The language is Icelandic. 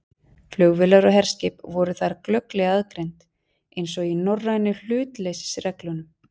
Flugvélar og herskip voru þar glögglega aðgreind, eins og í norrænu hlutleysisreglunum.